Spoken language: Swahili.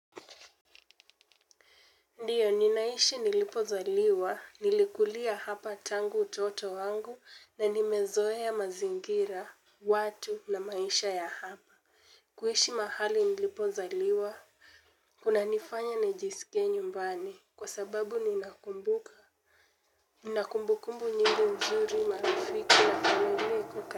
Ndiyo ninaishi nilipo zaliwa, nilikulia hapa tangu utoto wangu na nimezoea mazingira, watu na maisha ya hapa. Kuishi mahali nilipo zaliwa, kuna nifanya najisike nyumbani kwa sababu ninakumbuka. Nina kumbukumbu nyingi mzuri marafiki ya kwenye kuka.